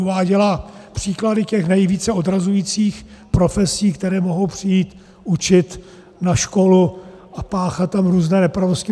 Uváděla příklady těch nejvíce odrazujících profesí, které mohou přijít učit na školu a páchat tam různé nepravosti.